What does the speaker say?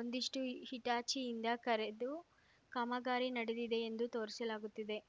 ಒಂದಷ್ಟುಹಿಟಾಚಿಯಿಂದ ಕರೆದು ಕಾಮಗಾರಿ ನಡೆದಿದೆಯೆಂದು ತೋರಿಸಲಾಗುತ್ತಿದೆ